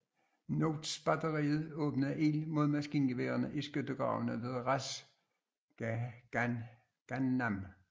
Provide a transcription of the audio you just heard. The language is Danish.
Notts batteriet åbnede ild mod maskingeværerne i skyttegravene ved Ras Ghannam